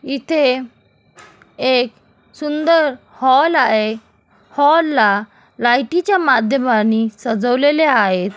इथे एक सुंदर हॉल आहे. हॉल ला लाईटी च्या माध्यमांनी सजवलेले आहे.